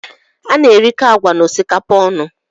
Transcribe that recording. A na-erikọ agwa na osikapa ọnụ